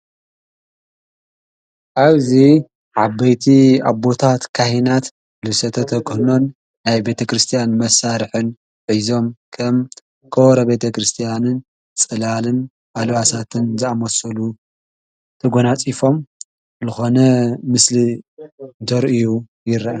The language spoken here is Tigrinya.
ኣብዙ ዓበይቲ ኣቦታት ካሕናት ልሰተ ተክህኖን ኣይ ቤተ ክርስቲያን መሣርሑን ኂዞም ከም ኮበሮ ቤተ ክርስቲያንን ጽላልን ኣልዋሳትን ዝኣመሠሉ ተጐናጺፎም ልኾነ ምስሊ ደርእዩ ይረአን።